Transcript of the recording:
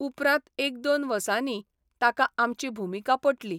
उपरांत एक दोन वसांनी ताका आमची भुमिका पटली.